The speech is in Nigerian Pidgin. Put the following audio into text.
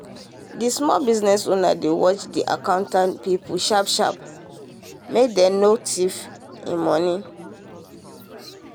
the small business owner dey watch the accountant people sharp sharp um make dem no thief money.